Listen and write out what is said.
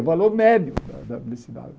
O valor médio da velocidade.